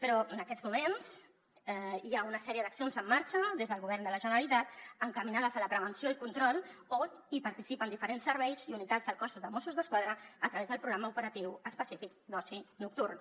però en aquests moments hi ha una sèrie d’accions en marxa des del govern de la generalitat encaminades a la prevenció i control on participen diferents serveis i unitats del cos dels mossos d’esquadra a través del programa operatiu específic d’oci nocturn